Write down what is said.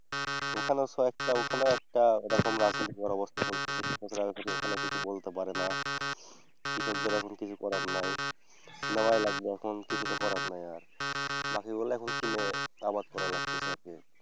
ওখানে একটা ওখানে একটা এরকম একটা রাজনীতির অবস্থা চলতেছে। কিন্তু ঠিক মত ওখানে কেউ কিছু বলতে পারেনা। কৃষকদের এখন কিছু করার নেই। নেওয়াই লাগবে এখন কিছুতো করার নাই আর। বাকিগুলা এখন কিনে আবাদ করা লাগতেসে আর কি।